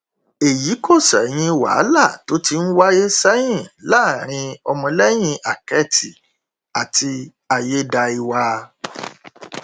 èyí kò ṣẹyìn wàhálà tó ti ń wáyé sẹyìn láàrin ọmọlẹyìn àkẹtì àti ayédáiwa